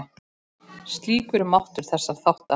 Slíkur er máttur þessara þátta.